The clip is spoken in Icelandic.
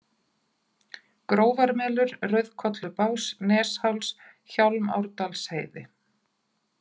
Grófarmelur, Rauðkollubás, Nesháls, Hjálmárdalsheiði